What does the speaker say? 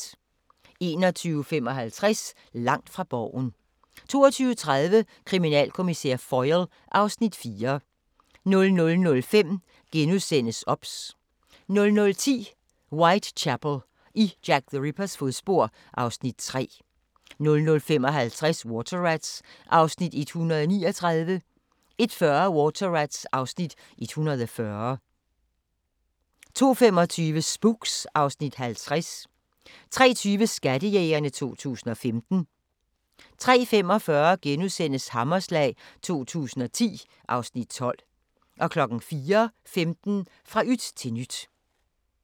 21:55: Langt fra Borgen 22:30: Kriminalkommissær Foyle (Afs. 4) 00:05: OBS * 00:10: Whitechapel: I Jack the Rippers fodspor (Afs. 3) 00:55: Water Rats (139:177) 01:40: Water Rats (140:177) 02:25: Spooks (Afs. 50) 03:20: Skattejægerne 2015 03:45: Hammerslag 2010 (Afs. 12)* 04:15: Fra yt til nyt